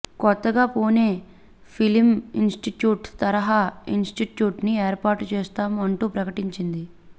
కొత్తగా పూణే ఫిలింఇనిస్టిట్యూట్ తరహా ఇనిస్టిట్యూట్ని ఏర్పాటు చేస్తాం అంటూ ప్రకటించింది